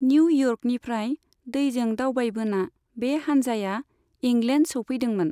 New इयर्कनिफ्राय दैजों दावबायबोना बे हानजाया इंलेण्ड सौफैदोंमोन।